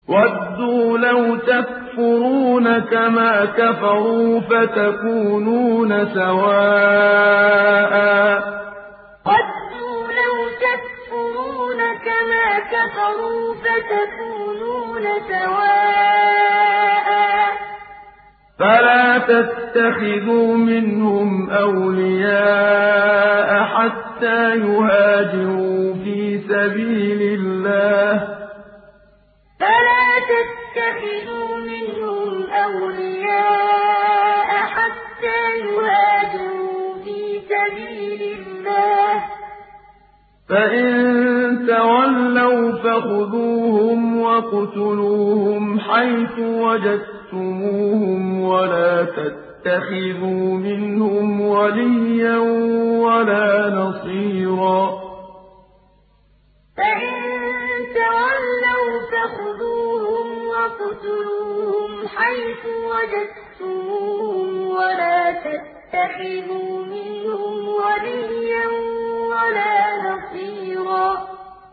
وَدُّوا لَوْ تَكْفُرُونَ كَمَا كَفَرُوا فَتَكُونُونَ سَوَاءً ۖ فَلَا تَتَّخِذُوا مِنْهُمْ أَوْلِيَاءَ حَتَّىٰ يُهَاجِرُوا فِي سَبِيلِ اللَّهِ ۚ فَإِن تَوَلَّوْا فَخُذُوهُمْ وَاقْتُلُوهُمْ حَيْثُ وَجَدتُّمُوهُمْ ۖ وَلَا تَتَّخِذُوا مِنْهُمْ وَلِيًّا وَلَا نَصِيرًا وَدُّوا لَوْ تَكْفُرُونَ كَمَا كَفَرُوا فَتَكُونُونَ سَوَاءً ۖ فَلَا تَتَّخِذُوا مِنْهُمْ أَوْلِيَاءَ حَتَّىٰ يُهَاجِرُوا فِي سَبِيلِ اللَّهِ ۚ فَإِن تَوَلَّوْا فَخُذُوهُمْ وَاقْتُلُوهُمْ حَيْثُ وَجَدتُّمُوهُمْ ۖ وَلَا تَتَّخِذُوا مِنْهُمْ وَلِيًّا وَلَا نَصِيرًا